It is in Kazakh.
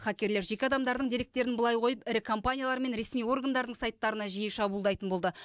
хакерлер жеке адамдардың деректерін былай қойып ірі компаниялар мен ресми органдардың сайттарына жиі шабуылдайтын болды